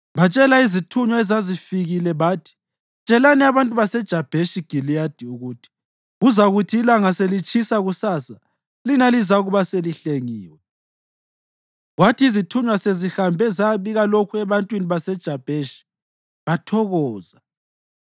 Batshela izithunywa ezazifikile bathi, “Tshelani abantu baseJabheshi Giliyadi ukuthi, ‘Kuzakuthi ilanga selitshisa kusasa, lina lizakuba selihlengiwe.’ ” Kwathi izithunywa sezihambe zayabika lokhu ebantwini baseJabheshi, bathokoza.